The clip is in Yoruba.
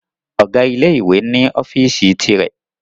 Ọ̀gá ilé ìwé ni ọ́fíìsì ti rẹ̀